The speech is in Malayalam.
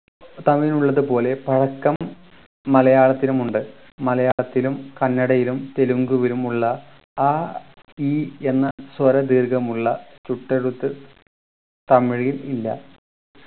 തമിഴിനുള്ളത് പോലെ പഴക്കം മലയാളത്തിനുമുണ്ട് മലയാളത്തിലും കന്നടയിലും തെലുങ്കുവിലുമുള്ള ആ ഈ എന്ന് സ്വര ദീർഘമുള്ള ചുട്ടെഴുത്ത് തമിഴിൽ ഇല്ല